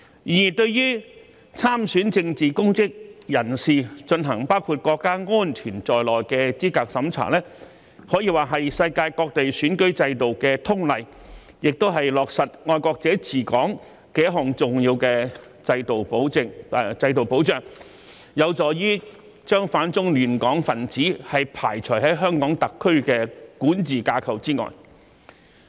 然而，對於參選政治公職人士進行包括國家安全在內的資格審查，可以說是世界各地選舉制度的通例，亦是落實"愛國者治港"的一項重要制度保障，有助將反中亂港分子排除在香港特區的管治架構之外。